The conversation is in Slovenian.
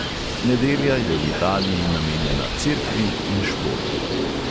Nedelja je v italiji namenjena cerkvi in športu.